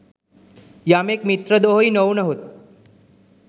යමෙක් මිත්‍රද්‍රෝහී නොවුවහොත්